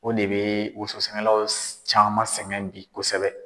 O de bɛ wososɛnɛlaw caman sɛgɛn bi kosɛbɛ.